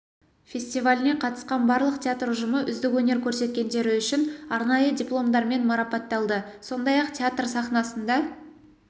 фестиваліне қатысқан барлық театр ұжымы үздік өнер көрсеткендері үшін арнайы дипломдармен марапатталды сондай-ақ театр сахнасында